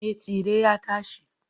Me tsire ya tashi.